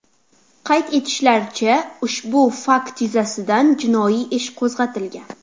Qayd etishlaricha, ushbu fakt yuzasidan jinoiy ish qo‘zg‘atilgan.